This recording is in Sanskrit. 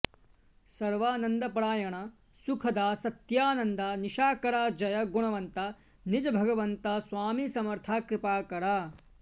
सर्वानंदपरायण सुखदा सत्यानंदा निशाकरा जय गुणवंता निज भगवंता स्वामी समर्था कृपाकरा